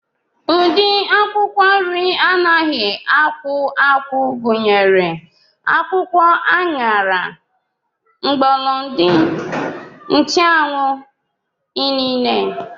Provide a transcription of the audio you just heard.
Ụdị akwụkwọ nri anaghị akwụ akwụ gụnyere akwụkwọ aṅara, mgbọlọdị, nchụanwụ, inine